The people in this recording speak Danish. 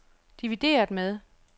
divideret med